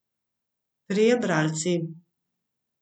Trije bralci.